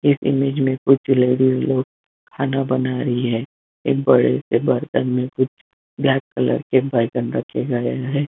इस इमेज में कुछ लेडिज़ लोग खाना बना रही है एक बड़े से बर्तन में कुछ ब्लैक कलर के बर्तन रखे गए है।